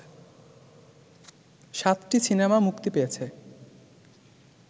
৭টি সিনেমা মুক্তি পেয়েছে